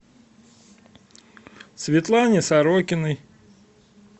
светлане сорокиной